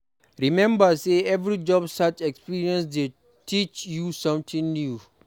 Remember say every job search experience dey teach you something new.